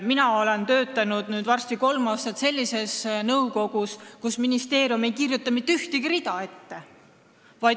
Mina olen nüüd varsti kolm aastat töötanud sellises nõukogus, kus ministeerium ei kirjuta mitte ühtegi rida ette.